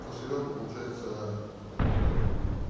ну серёга получается это